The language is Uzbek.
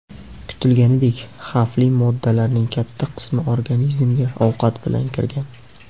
Kutilganidek, xavfli moddalarning katta qismi organizmga ovqat bilan kirgan.